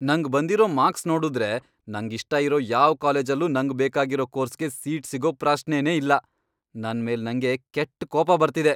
ನಂಗ್ ಬಂದಿರೋ ಮಾರ್ಕ್ಸ್ ನೋಡುದ್ರೆ ನಂಗಿಷ್ಟ ಇರೋ ಯಾವ್ ಕಾಲೇಜಲ್ಲೂ ನಂಗ್ ಬೇಕಾಗಿರೋ ಕೋರ್ಸ್ಗೆ ಸೀಟ್ ಸಿಗೋ ಪ್ರಶ್ನೆನೇ ಇಲ್ಲ.. ನನ್ ಮೇಲ್ ನಂಗೇ ಕೆಟ್ಟ್ ಕೋಪ ಬರ್ತಿದೆ.